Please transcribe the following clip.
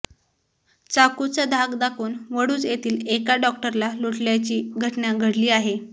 चाकूचा धाक दाखवून वडूज येथील एका डॉक्टरला लुटल्याची घटना घडली आहे